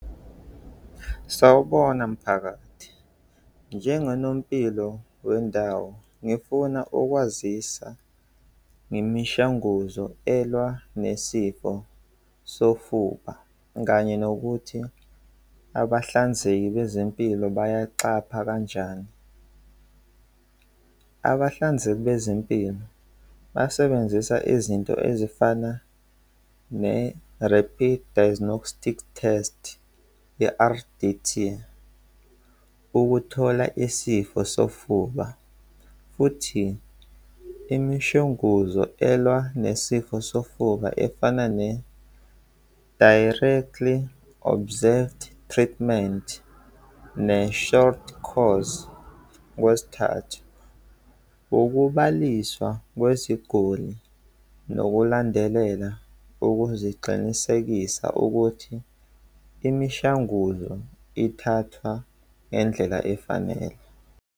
Sawubona mphakathi, njengonompilo wendawo, ngifuna ukwazisa ngemishanguzo elwa nesifo sofuba kanye nokuthi abahlanzeki bezempilo bayaqapha kanjani. Abahlinzeki bezempilo basebenzisa izinto ezifana ne-rapid diagnostic test ye-R_D_T ukuthola isifo sofuba futhi imishwanguzo elwa nesifo sofuba efana ne-directly observed treatment ne-short course. Okwesithathu, ukubaliswa kweziguli nokulandelela ukuziqinisekisa ukuthi imishanguzo ithathwa ngendlela efanele.